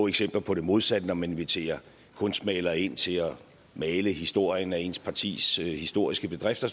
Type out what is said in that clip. eksempler på det modsatte når man inviterer en kunstmaler ind til at male historien af ens partis historiske bedrifter